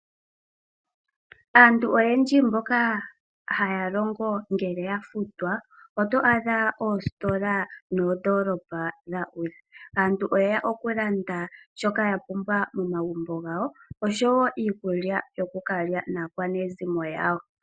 Aantu oyendji mboka haya longo ngele yafutwa, oto adha oositola noondolopa dha udha. Auntu oyeya kulanda shoka yapumbwa momagumbo gawo, oshowo iikulya yokukalya naakwanezimo yawo.